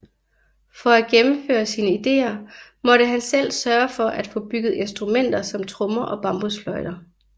For at gennemføre sine ideer måtte han selv sørge for at få bygget instrumenter som trommer og bambusfløjter